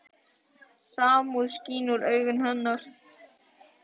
Samúð skín úr augum hennar.